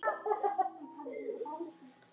Já, mikil ert þú kona.